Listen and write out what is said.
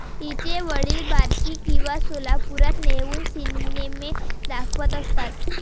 तिचे वडील बार्शी किंवा सोलापुरात नेऊन सिनेमे दाखवत असतात.